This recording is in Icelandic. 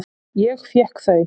Ég fékk þau.